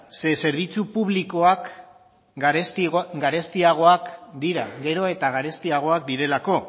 zeren zerbitzu publikoak garestiagoak dira gero eta garestiagoak direlako